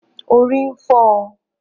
Orí ń fọ